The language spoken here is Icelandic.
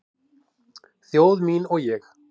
Þjóð mín og ég